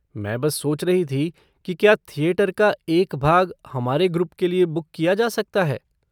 मैं बस सोच रही थी कि क्या थिएटर का एक भाग हमारे ग्रुप के लिए बुक किया जा सकता है?